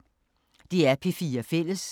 DR P4 Fælles